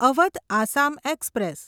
Awadh Assam express